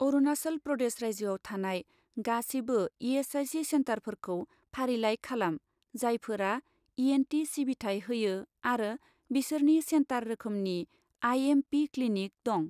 अरुनाचल प्रदेश रायजोआव थानाय गासिबो इ.एस.आइ.सि. सेन्टारफोरखौ फारिलाइ खालाम, जायफोरा इ.एन.टि. सिबिथाय होयो आरो बिसोरनि सेन्टार रोखोमनि आइ.एम.पि. क्लिनिक दं।